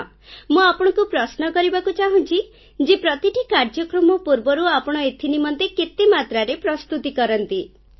ମୁଁ ଆପଣଙ୍କୁ ପ୍ରଶ୍ନ କରିବାକୁ ଚାହୁଁଛି ଯେ ପ୍ରତିଟି କାର୍ଯ୍ୟକ୍ରମ ପୂର୍ବରୁ ଆପଣ ଏଥିନିମନ୍ତେ କେତେ ମାତ୍ରାରେ ପ୍ରସ୍ତୁତି କରନ୍ତି ଫୋନକଲ୍ ସମାପ୍ତ